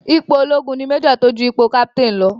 Ipò ológun ni Major tó ju ipò Captain lọ.